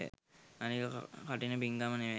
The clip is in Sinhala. අනික කඨින පිංකම නෙව